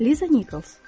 Liza Nikols.